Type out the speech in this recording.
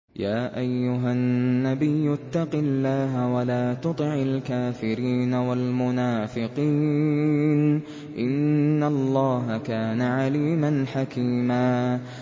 يَا أَيُّهَا النَّبِيُّ اتَّقِ اللَّهَ وَلَا تُطِعِ الْكَافِرِينَ وَالْمُنَافِقِينَ ۗ إِنَّ اللَّهَ كَانَ عَلِيمًا حَكِيمًا